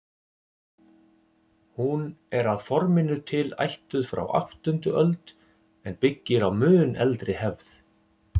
Hún er að forminu til ættuð frá áttundu öld en byggir á mun eldri hefð.